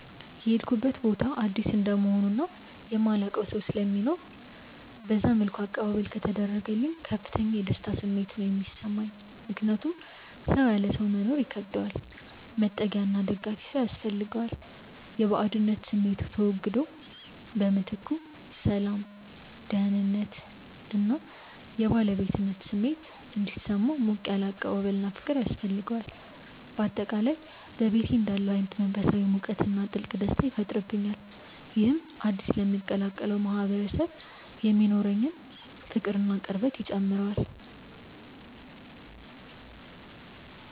የሄድኩበት ቦታ አዲስ እንደመሆኑ እና የማላውቀው ሰው ስለማይኖር በዛ መልኩ አቀባበል ከተደረገልኝ ከፍተኛ የደስታ ስሜት ነው የሚሰማኝ። ምክንያቱም ሰው ያለ ሰው መኖር ይከብደዋል፤ መጠጊያና ደጋፊ ሰው ያስፈልገዋል። የባዕድነት ስሜቱ ተወግዶ በምትኩ ሰላም፣ ደህንነት እና የባለቤትነት ስሜት እንዲሰማው ሞቅ ያለ አቀባበልና ፍቅር ያስፈልገዋል። በአጠቃላይ በቤቴ እንዳለሁ አይነት መንፈሳዊ ሙቀትና ጥልቅ ደስታ ይፈጥርብኛል። ይህም አዲስ ለምቀላቀለው ማህበረሰብ የሚኖረኝን ፍቅርና ቅርበት ይጨምረዋል።